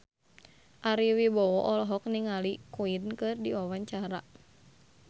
Ari Wibowo olohok ningali Queen keur diwawancara